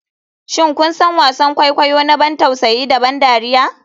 Shin kun san wasan kwaikwayo na ban tausayi da ban dariya?